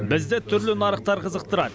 бізді түрлі нарықтар қызықтырады